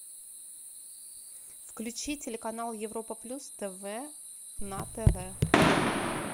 включи телеканал европа плюс тв на тв